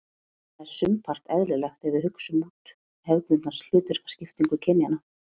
Það er sumpart eðlilegt ef við hugsum út hefðbundna hlutverkaskiptingu kynjanna.